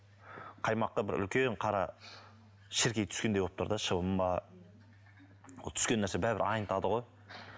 қаймаққа бір үлкен қара шіркей түскендей болып тұр да шыбын ба ол түскен нәрсе бәрібір айнытады ғой